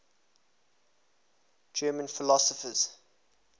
german philosophers